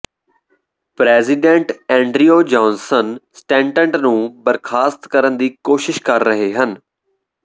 president Andrew Johnson Stanton ਨੂੰ ਬਰਖਾਸਤ ਕਰਨ ਦੀ ਕੋਸ਼ਿਸ਼ ਕਰ ਰਹੇ ਹਨ